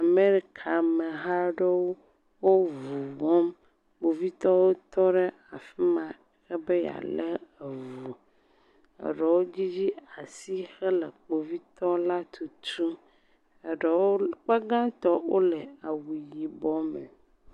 Amerika ameha aɖewo wo ŋu wɔm. kpovitɔ aɖewo tɔ ɖe afi ma ebe ya le eŋu. Eɖewo dzidzi asi hele kpovitɔ la tutum. Eɖe wo akpa gatɔ wole awu yibɔ me.